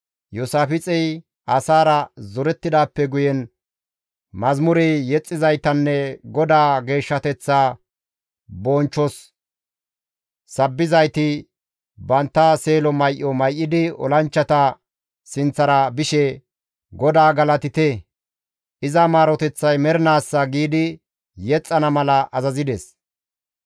Iyoosaafixey asaara zorettidaappe guyen mazamure yexxizaytanne GODAA geeshshateththaa bonchchoza sabbizayti bantta seelo may7o may7idi olanchchata sinththara bishe, «GODAA galatite! iza maaroteththay mernaassa» giidi yexxana mala azazides.